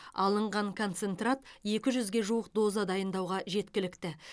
алынған концентрат екі жүзге жуық доза дайындауға жеткілікті